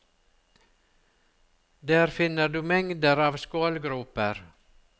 Der finner du mengder av skålgroper.